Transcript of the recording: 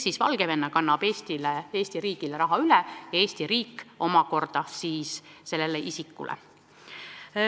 Seega Valgevene kannab Eesti riigile raha üle ja Eesti riik omakorda õigustatud isikule.